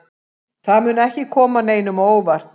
Það mun ekki koma neinum á óvart.